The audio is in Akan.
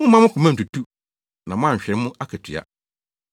Mommma mo koma ntutu na moanhwere mo akatua.